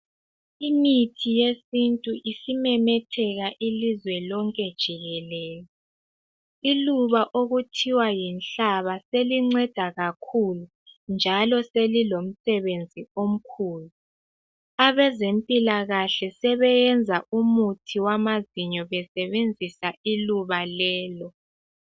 Imithi yesintu isimemetheka ilizwe lonke jikelele. Iluba okuthiwa yinhlaba selinceda kakhulu njalo selilomsebenzi omkhulu. Abezempilakahle sebeyenza umuthi wamazinyo besebenzisa iluba lelo.